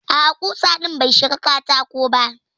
A'a kusa din bai shiga katako ba.